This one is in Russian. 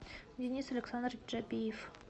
денис александрович джабиев